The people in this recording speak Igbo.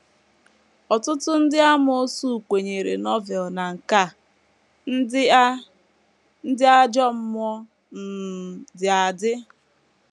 Ọtụtụ ndị amoosu kwenyeere Novel na nke a: Ndị a: Ndị ajọ mmụọ um dị adị.